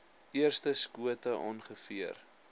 eerste skote ongeveer